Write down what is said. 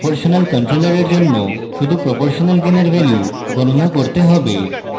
proportional controller for জন্য শুধু proportional gain for value গণনা করতে হবে